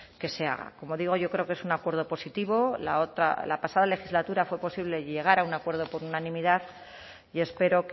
que se haga como digo yo creo que es un acuerdo positivo la pasada legislatura fue posible llegar a un acuerdo por unanimidad y espero